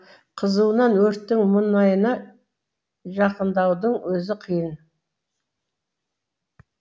қызуынан өрттің мұнайына жақындаудың өзі қиын